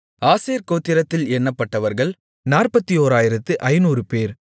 ஆசேர் கோத்திரத்தில் எண்ணப்பட்டவர்கள் 41500 பேர்